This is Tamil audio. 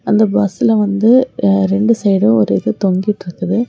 அந்த பஸ்ல வந்து ரெண்டு சைடும் ஒரு இது தொங்கிட்டுருக்குது.